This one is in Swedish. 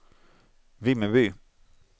Vimmerby